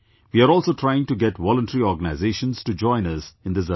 We are also trying to get voluntary organisations to join us in this effort